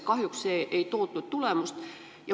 Kahjuks ei toonud see tulemust.